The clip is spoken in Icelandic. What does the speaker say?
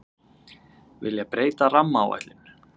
Vilja breyta rammaáætlun